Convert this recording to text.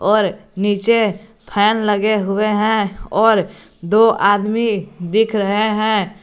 पर नीचे फैन लगे हुए हैं और दो आदमी दिख रहे हैं।